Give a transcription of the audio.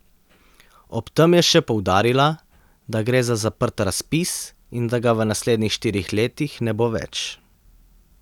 Ob tem je še poudarila, da gre za zaprt razpis in da ga v naslednjih štirih letih ne bo več.